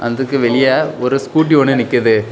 அந்துக்கு வெளிய ஒரு ஸ்கூட்டி ஒன்னு நிக்குது.